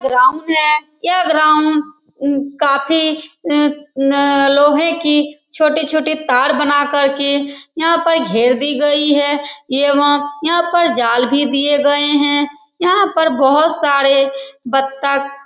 यह ग्राउंड है ये ग्राउंड में काफी लोहे की छोटी-छोटी तार बनाकर यहाँ पर घेर दी गई है एवं यहाँ पर जाल भी दिए गए हैं यहाँ पर बहुत सारे बत्तख --